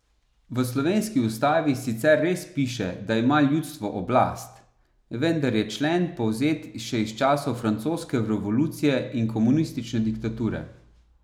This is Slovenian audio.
V slovenski ustavi sicer res piše, da ima ljudstvo oblast, vendar je člen povzet še iz časov francoske revolucije in komunistične diktature.